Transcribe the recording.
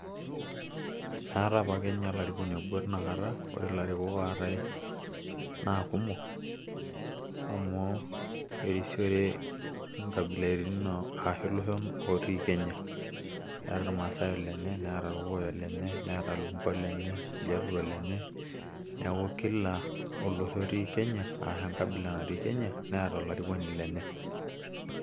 aata apa ake ninye olarikoni obo teina kata, ore ilarikok ootae naa kumok amuu.au erisiore inkabilaritin ashu iloshon otii kenya. eeta irmasai olenye, neeta irkokoyok olenye, neeta iljaluo olenye, neeku kila olosho otii kenya neeta olarikoni lenye.